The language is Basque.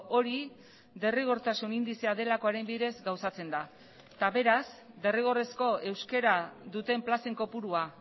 hori derrigortasun indizea delakoaren bidez gauzatzen da eta beraz derrigorrezko euskara duten plazen kopurua